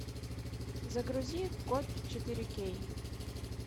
загрузи код четыре кей